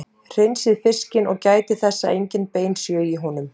Hreinsið fiskinn og gætið þess að engin bein séu í honum.